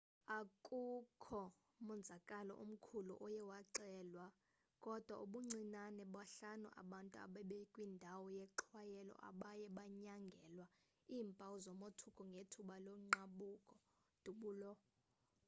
akukho monzakalo omkhulu oye waxelwa kodwa ubuncinane bahlanu abantu ebebekwindawo yexhwayelo abaye banyangelwa iimpawu zomothuko ngethuba logqabhuko dubulo